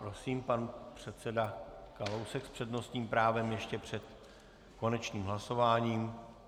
Prosím, pan předseda Kalousek s přednostním právem ještě před konečným hlasováním.